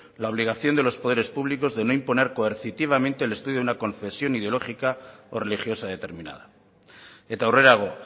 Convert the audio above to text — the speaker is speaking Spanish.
la obligación de los poderes públicos de no imponer coercitivamente el estudio de una concesión ideológica o religiosa determinada eta aurrerago